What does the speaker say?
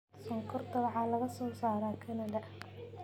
Sonkorta waxaa laga soo saaraa kanada.